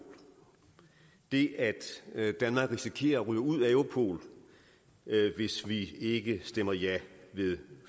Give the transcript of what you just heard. det at danmark risikerer at ryge ud af europol hvis vi ikke stemmer ja ved